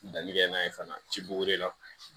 Danni kɛ n'a ye fana ci buri la